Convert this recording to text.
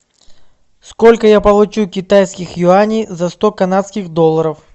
сколько я получу китайских юаней за сто канадских долларов